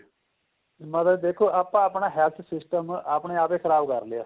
ਮਤਲਬ ਦੇਖੋ ਆਪਾਂ ਆਪਣਾ health system ਆਪਣੇਂ ਆਪ ਹੀ ਖ਼ਰਾਬ ਕਰ ਲਿਆ